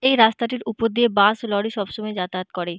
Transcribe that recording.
এই রাস্তাটির উপর দিয়ে বাস লরি সব সময় যাতায়াত করে--